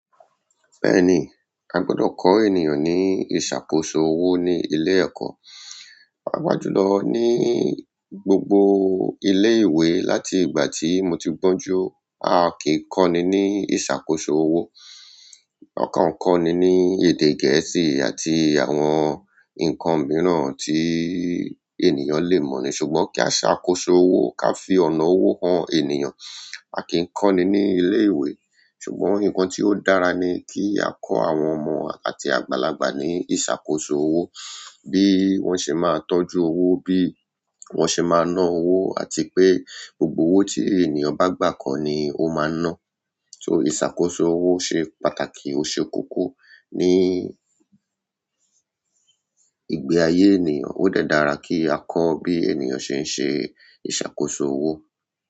Bẹ́ẹ̀ni, a gbọdọ̀ kọ ènìyàn ní ìṣàkóso owó ní ilé ẹ̀kọ́. Paapájú lọ ní gbogbo ilé ìwé láti ìgbà tí mo ti gbọ́njú a kì í kọ́ni ní ìṣàkóso owó. Ọ̀kan kọ́ni ní èdè Gẹ̀ẹ́sì àti àwọn ǹkan mìíràn tí ènìyàn lè mọ̀ ni, ṣùgbọ́n kí a ṣàkóso owó, ká fi ọ̀nà owó han ènìyàn, a kì í kọ́ni ní ilé ìwé. Ṣùgbọ́n ǹkan tí ó dára ni kí a kọ́ àwọn ọmọ àti àgbàlagbà ní ìṣàkóso owó. Bí wọ́n ṣe máa ń tọ́jú owó, bí wọ́n ṣe máa ń ná owó àti pé gbogbo owó tí ènìyàn bá gbà kan ni ó máa ń ná. So ìṣàkóso owó ṣe pàtàkì oṣé kóko ní ìgbé ayé ènìyàn. Ó dẹ́ dára kí á kọ́ bí ènìyàn ṣe ń ṣe ìṣàkóso owó.